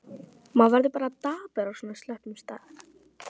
Maður verður bara dapur á svona slöppum stað.